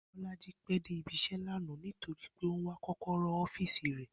Bó̩lájí pé̩ dé ibi-is̩é̩ lánàá torí pé ó ń wá kó̩kó̩ró̩ ó̩fíìsì rè̩